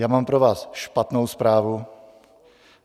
Já mám pro vás špatnou zprávu.